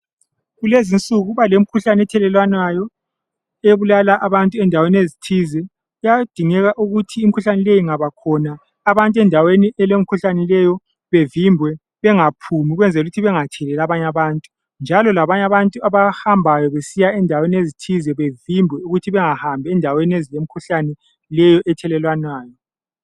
Kulezinsuku kuba lemkhuhlane ethelelwanayo ebulala abantu endaweni ezithize ,kuyadingenga ukuthi imkhuhlane leyo ingabakhona, abantu endaweni elemikhuhlane leyi bavinjwe bangaphumi, ukwenzela ukuthi bengatheleli abanye abantu, njalo labanye abantu abahambayo besiya endaweni ezithize bevinjwe ukuthi bengahambi endaweni ezilemikhuhlane leyi ethelelwanayo